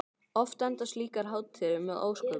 Oft enda slíkar hátíðir með ósköpum.